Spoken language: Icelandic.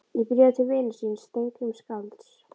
Í bréfi til vinar síns, Steingríms skálds